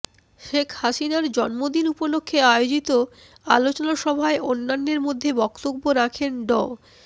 শেখ হাসিনার জন্মদিন উপলক্ষে আয়োজিত আলোচনা সভায় অন্যান্যের মধ্যে বক্তব্য রাখেন ড